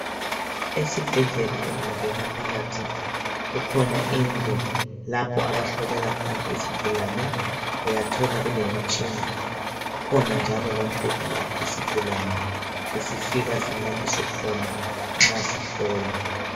Esibhedlela ungangena phakathi kukhona indlu abahlolela khona izigulane. Uyathola kulemitshina. Kukhona njalo lombheda lapho isigulane esifika silaliswe khona nxa sihlolwa.